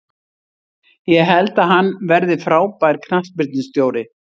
Ég held að hann verði frábær knattspyrnustjóri.